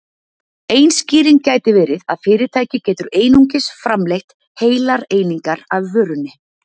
ein skýring gæti verið að fyrirtæki getur einungis framleitt heilar einingar af vörunni